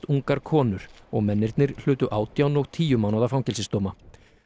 ungar konur og mennirnir hlutu átján og tíu mánaða fangelsisdóma